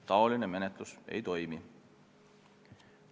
Säärane menetlus ei toimi.